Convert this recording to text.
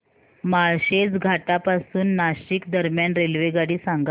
माळशेज घाटा पासून नाशिक दरम्यान रेल्वेगाडी सांगा